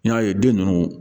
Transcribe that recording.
N y'a ye den ninnu